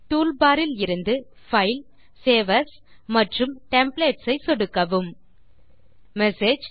toolbar இலிருந்து file save as templates ஐ சொடுக்கவும் மெசேஜ்